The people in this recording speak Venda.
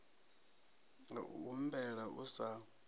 ya u humbela u sa